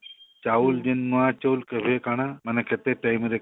ଚାଉଲ ଯେନ ନୂଆ ଚଉଳ କେବେ କାଣା ମାନେ କେତେ time ରେ